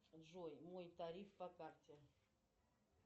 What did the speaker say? джой мой тариф по карте